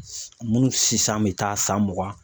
Munnu sisan bɛ taa san mugan.